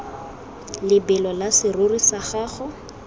lebelo la serori sa gago